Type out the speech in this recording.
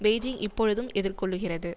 Beijing இப்பொழுதும் எதிர்கொள்ளுகிறது